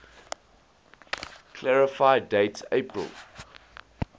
clarify date april